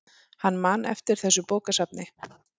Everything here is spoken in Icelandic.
Hann man eftir þessu bókasafni.